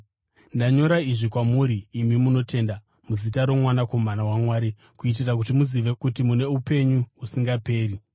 Ndanyora izvi kwamuri imi munotenda muzita roMwanakomana waMwari kuitira kuti muzive kuti mune upenyu husingaperi.